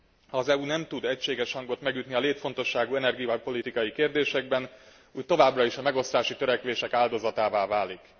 Ha az EU nem tud egységes hangot megütni a létfontosságú energiapolitikai kérdésekben, úgy továbbra is a megosztási törekvések áldozatává válik.